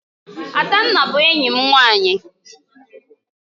Adanna bu enyim nwanyi